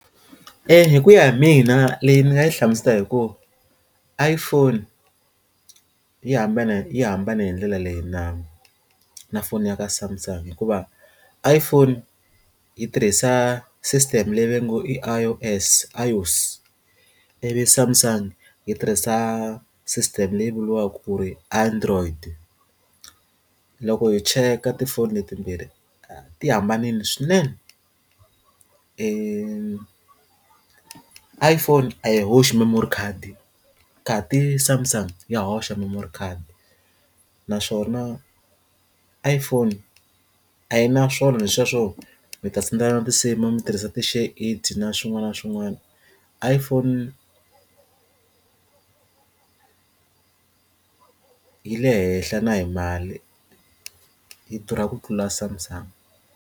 hi ku ya hi mina leyi ni nga yi hlamusela hi ku iPhone yi hambana yi hambane hi ndlela leyi na na foni ya ka Samsung hikuva i Iphone yi tirhisa e system le go vo nge i I_O_S, I_O_S ivi Samsung yi tirhisa system leyi vuriwaka ku ri android loko hi cheka tifoni leti timbirhi ti hambanile swinene iPhone a yi hoxi memory khadi khasi samsung ya hoxa memory khadi naswona iPhone a yi na swona sweswo mi ta sendela na ti nsimu mi tirhisa ti share it na swin'wana na swin'wana IPhone yi le henhla na hi mali yi durha ku tlula Samsung.